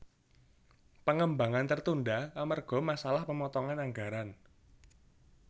Pengembangan tertunda amerga masalah pemotongan anggaran